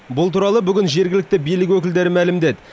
бұл туралы бүгін жергілікті билік өкілдері мәлімдеді